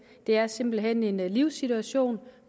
det er simpelt hen en livssituation